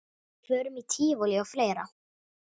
Förum í tívolí og fleira.